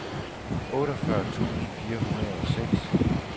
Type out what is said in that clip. otteogfyrre tusind fire hundrede og seks